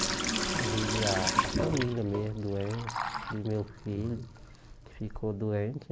a família mesmo, doença, que meu filho que ficou doente.